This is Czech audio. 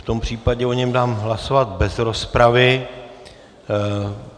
V tom případě o něm dám hlasovat bez rozpravy.